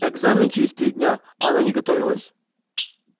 экзамены через три дня а она не готовилась